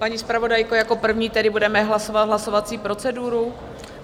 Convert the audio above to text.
Paní zpravodajko, jako první tedy budeme hlasovat hlasovací proceduru?